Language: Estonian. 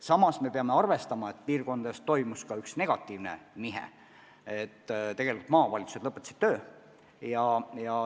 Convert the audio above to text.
Samas peame arvestama, et piirkondades toimus ka üks negatiivne nihe: maavalitsused lõpetasid töö.